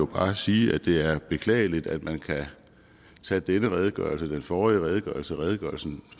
bare sige at det er beklageligt at man kan tage den redegørelse den forrige redegørelse og redegørelsen